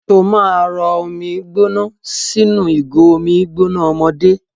Ṣó máa rọ omi gbóná sínú ìgò omi gbóná ọmọdé?